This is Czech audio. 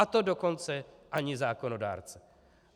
A to dokonce ani zákonodárce.